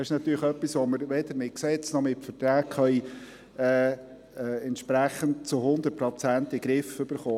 Das ist natürlich etwas, das wir weder mit Gesetzen noch mit Verträgen zu 100 Prozent in den Griff bekommen.